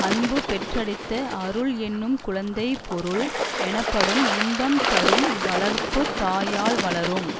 அன்பு பெற்றெடுத்த அருள் என்னும் குழந்தை பொருள் எனப்படும் இன்பம் தரும் வளர்ப்பு தாயால் வளரும்